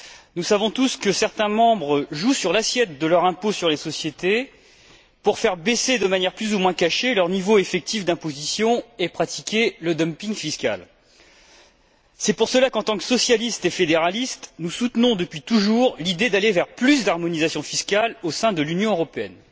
Nous savons tous que certains États membres jouent sur l'assiette de leur impôt sur les sociétés pour faire baisser, de manière plus ou moins cachée, leur niveau effectif d'imposition et pratiquer le dumping fiscal. C'est pour cela qu'en tant que socialistes et fédéralistes, nous soutenons depuis toujours l'idée d'aller vers plus d'harmonisation fiscale au sein de l'Union européenne.